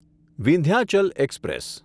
Vindhyachal express